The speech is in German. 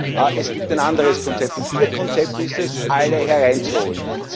Und es gibt ein anderes Konzept. Und ihr Konzept ist es, alle herein zu holen.